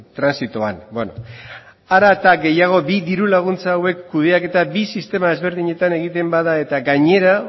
transitoan beno are gehiago bi diru laguntza hauek kudeaketa sistema bi desberdinetan egiten bada eta gainera